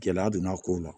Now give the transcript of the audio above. Gɛlɛya donn'a ko la